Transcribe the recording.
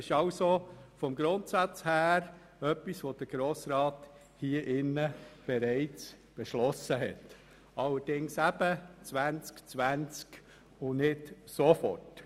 Das wurde also vom Grundsatz her bereits vom Grossen Rat beschlossen, allerdings auf das Jahr 2020 und nicht per sofort.